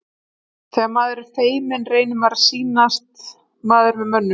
Þegar maður er feiminn reynir maður að sýnast maður með mönnum.